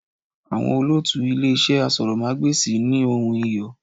Àwọn olótùú Ilé iṣẹ́ asọ̀rọ̀mágbèsì ní ohùn Iyọ̀.